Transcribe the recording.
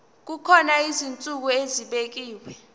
kukhona izinsuku ezibekiwe